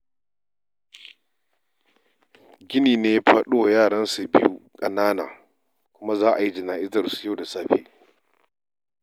Gini ne ya faɗo wa yaransa biyu ƙanana kuma za a yi jana'izarsu yau da safe.